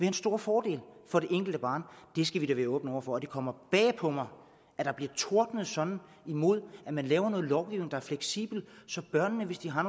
en stor fordel for det enkelte barn det skal vi da være åbne over for det kommer bag på mig at der bliver tordnet sådan imod at man laver noget lovgivning der er fleksibel så børnene hvis de har